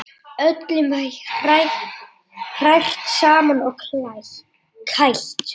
Öllu hrært saman og kælt